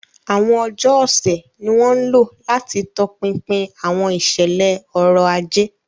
Àwọn ọjọ́ ọ̀sẹ̀ ni wọ́n ń lò láti tọpinpin àwọn ìṣẹ̀lẹ̀ ọrọ̀ ajé.